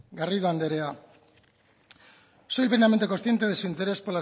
garrido anderea soy plenamente consciente de su interés